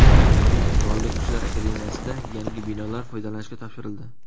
Qurolli Kuchlar akademiyasida yangi binolar foydalanishga topshirildi.